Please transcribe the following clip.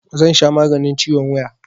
Zan sha maganin ciwon wuya